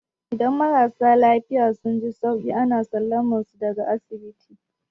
Idan marasa lafiya suka ji sauki, ana sallamar su daga asibiti.